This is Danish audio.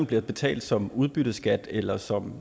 bliver betalt som udbytteskat eller som